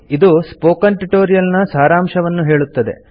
ಇದು spoken tutorial ನ ಸಾರಾಂಶವನ್ನು ಹೇಳುತ್ತದೆ